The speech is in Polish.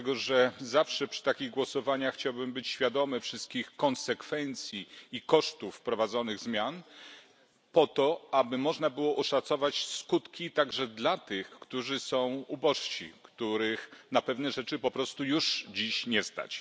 Dlatego, że zawsze przy takich głosowaniach chciałbym być świadomy wszystkich konsekwencji i kosztów wprowadzonych zmian, po to aby można było oszacować skutki także dla tych, którzy są ubożsi, których na pewne rzeczy po prostu już dziś nie stać.